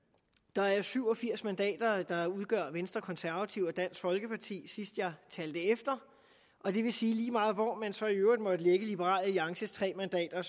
der er syv og firs mandater der udgøres af venstre konservative og dansk folkeparti sidst jeg talte efter og det vil sige at lige meget hvor man så i øvrigt måtte lægge liberal alliances tre mandater